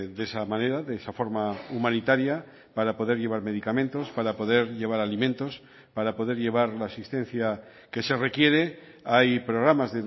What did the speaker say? de esa manera de esa forma humanitaria para poder llevar medicamentos para poder llevar alimentos para poder llevar la asistencia que se requiere hay programas